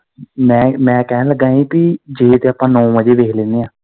ਮੈਂ, ਮੈਂ ਕਹਿਣ ਲੱਗਾ ਹੀ ਭੀ ਜੇ ਤੇ ਆਪਾਂ ਨੋ ਵਜੇ ਵੇਖ ਲੈਨੇ ਆ।